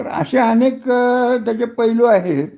असे अनेक त्याचे पैलू आहेत